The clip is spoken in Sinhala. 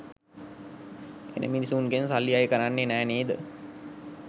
එන මිනිස්සුන්ගෙන් සල්ලි අය කරන්නේ නෑ නේද?